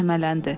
Vahimələndi.